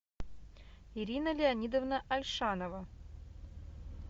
ирина леонидовна альшанова